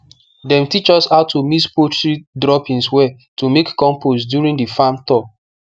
dem teach us how to mix poultry droppings well to make compost during the farm tour